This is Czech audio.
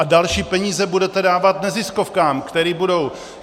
A další peníze budete dávat neziskovkám, které budou...